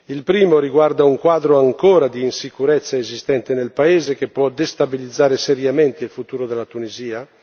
Il primo riguarda un quadro ancora di insicurezza esistente nel paese, che può destabilizzare seriamente il futuro della Tunisia.